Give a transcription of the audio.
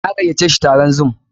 Na gayyace shi taron zoom.